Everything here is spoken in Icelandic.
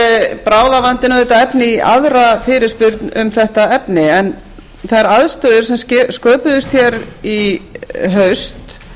er bráðavandinn auðvitað efni í aðra fyrirspurn um þetta efni þær aðstæður sem sköpuðust í haust